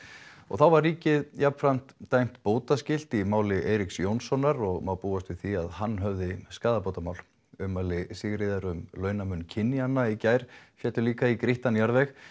þá var ríkið jafnframt dæmt bótaskylt í máli Eiríks Jónssonar og má búast við því að hann höfði skaðabótamál ummæli Sigríðar um launamun kynjanna í gær féllu líka í grýttan jarðveg